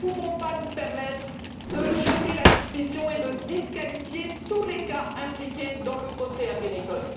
Nous ne pouvons pas nous permettre de jeter la suspicion et de disqualifier tous les cas impliqués dans le procès Ergenekon.